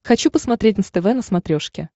хочу посмотреть нств на смотрешке